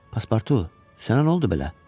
Paspartu, sənə nə oldu belə?